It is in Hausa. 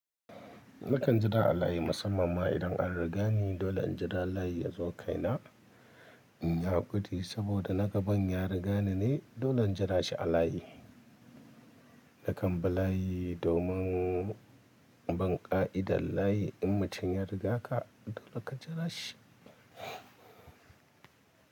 Nakan jira a layi musamman ma idan an riga ni dole in jira layi yazo kaina. In ya gudu saboda na gaban ya riga ni ne, dole in jira shi a layi. Nakan bi layi domin bin ƙa'idar layi, mutum ya riga ka dole ka jira shi.